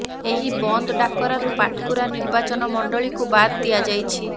ଏହି ବନ୍ଦ ଡାକରାରୁ ପାଟକୁରା ନିର୍ବାଚନ ମଣ୍ଡଳୀକୁ ବାଦ୍ ଦିଆଯାଇଛି